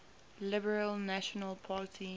liberal national party